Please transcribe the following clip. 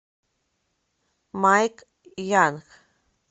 майк янг